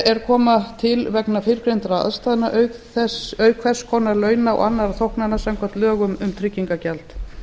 er koma til vegna fyrrgreindra aðstæðna auk hvers konar launa og annarra þóknana samkvæmt lögum um tryggingagjald